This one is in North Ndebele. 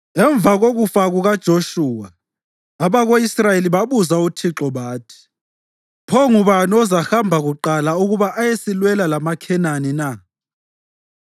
Emva kokufa kukaJoshuwa, abako-Israyeli babuza uThixo bathi, “Pho ngubani ozahamba kuqala ukuba ayesilwela lamaKhenani na?”